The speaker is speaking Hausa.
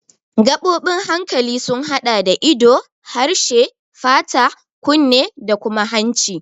Gaɓoɓin hankali sun haɗa da ido, harshe, fata, kunne da kuma hanci.